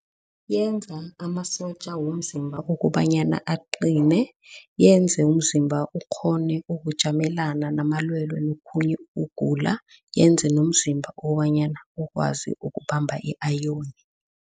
Yenza amasotja womzimba ukobanyana aqine, yenze umzimba ukghone ukujamelana namalwelwe nokhunye ukugula yenze nomzimba ukobanyana ukwazi ukubamba i-iron.